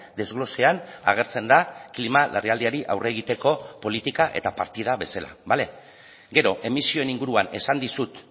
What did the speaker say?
desglosean agertzen da klima larrialdiari aurre egiteko politika eta partida bezala bale gero emisioen inguruan esan dizut